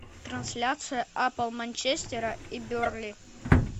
трансляция апл манчестера и бернли